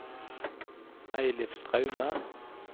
Eilif Straume